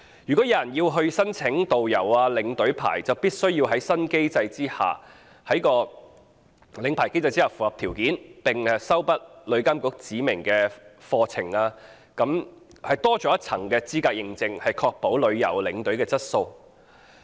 如果有人要申請導遊、領隊牌照，就必須在新機制下的領牌考試中合格，並修畢旅監局指明課程，多了一層資格認證，確保旅遊領隊的質素。